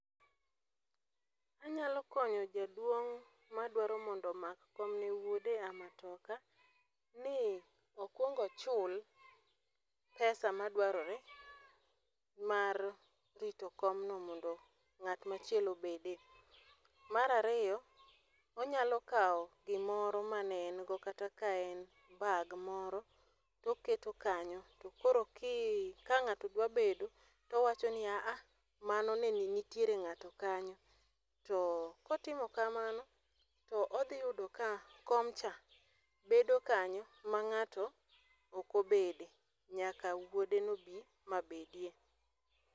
Anyalo konyo jaduong' ma dwaro mondo omak kom ne wuode e matoka, ni okwong ochul pesa madwarore mar rito komno mondo ngát machielo obede. Mar ariyo, onyalo kawo gimoro mane en go, kata ka en bag moro, to oketo kanyo. To koro ki, ka ngáto dwaro bedo to owacho ni "aa" mano nitiere ngáto kanyo. To kotimo kamano, to odhi yudo ka komcha, bedo kanyo ma ngáto ok obede, nyaka wuode no bi, ma bedie.